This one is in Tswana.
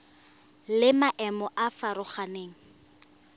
le maemo a a farologaneng